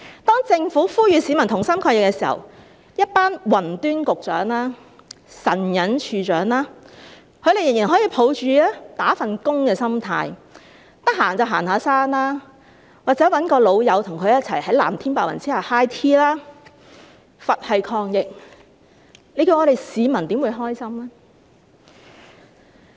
當政府呼籲市民同心抗疫時，一群"雲端"局長及"神隱"署/處長，他們仍然可以抱持"打份工"的心態，閒時就行山，或找朋友在藍天白雲下 high tea， 是佛系抗疫，我們的市民又怎會感到高興呢？